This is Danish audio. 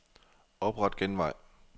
Opret genvej.